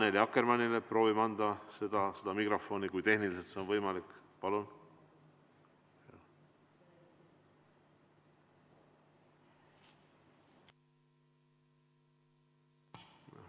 Proovime anda mikrofoni Annely Akkermannile, kui see tehniliselt on võimalik!